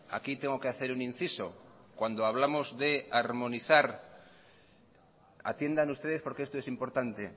aquí tengo que hacer un inciso cuando hablamos de armonizar atiendan ustedes porque esto es importante